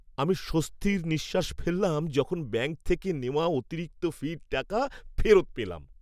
আমি স্বস্তির নিঃশ্বাস ফেললাম যখন ব্যাংক থেকে নেওয়া অতিরিক্ত ফির টাকা ফেরত পেলাম।